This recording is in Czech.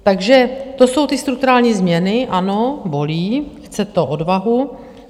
Takže to jsou ty strukturální změny - ano, bolí, chce to odvahu.